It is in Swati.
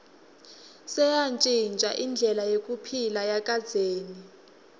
seyantjintja indlela yekuphila yakadzeni